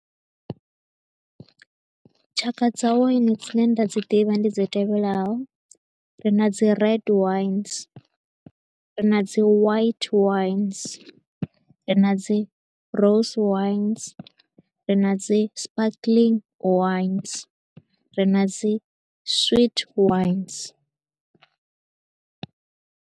Tshaka dza wine dzi ne nda dzi ḓivha ndi dzi tevhelaho. Ri na dzi red wines, ri na dzi white wines, ri na dzi rose wines, ri na dzi sparkling wines, ri na dzi sweet wines.